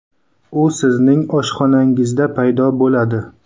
U sizning oshxonangizda paydo bo‘ladi.